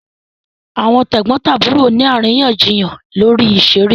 Àwọn tẹ̀gbọ́ntàbúrò ni àríyànjiyàn lórí ìṣeré